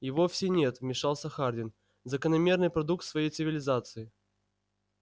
и вовсе нет вмешался хардин закономерный продукт своей цивилизации